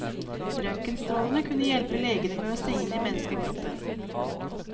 Røntgenstrålene kunne hjelpe legene med å se inn i menneskekroppen.